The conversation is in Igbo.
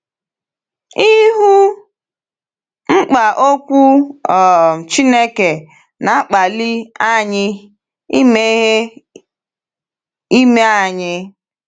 Ịhụ mkpa Okwu um Chineke na-akpali anyị imeghe ime anyị.